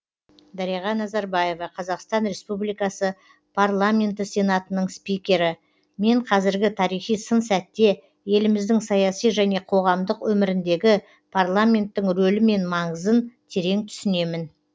дариға назарбаева қазақстан республикасы парламенті сенатының спикері мен қазіргі тарихи сын сәтте еліміздің саяси және қоғамдық өміріндегі парламенттің рөлі мен маңызын терең түсінемін